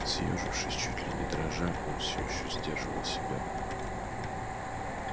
съёжившись чуть ли не дрожа он всё ещё сдерживал себя